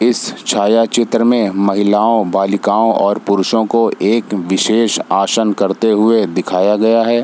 इस छाया चित्र में महिलाओं बालिकाओं और पुरुषों को एक विशेष आसन करते हुए दिखाया गया है।